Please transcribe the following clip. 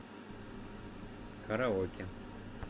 караоке